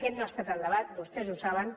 aquest no ha estat el debat vostès ho saben